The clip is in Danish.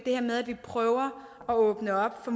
at vi prøver at åbne op for